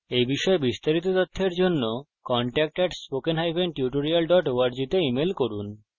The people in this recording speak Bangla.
এই বিষয়ে বিস্তারিত তথ্যের জন্য contact at spokentutorial org তে ইমেল করুন